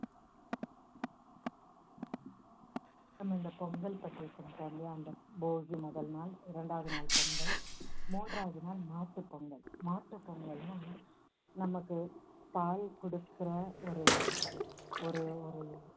நம்ம இந்த பொங்கல் அந்த போகி முதல் நாள், இரண்டாவது நாள் பொங்கல், மூன்றாவது நாள் மாட்டுப் பொங்கல் மாட்டுப்பொங்கல் நமக்கு பால் கொடுக்குற ஒரு ஒரு ஒரு